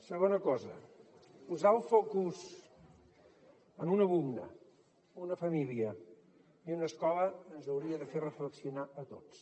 segona cosa posar el focus en un alumne una família i una escola ens hauria de fer reflexionar a tots